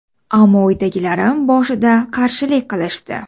Ammo uydagilarim boshida qarshilik qilishdi.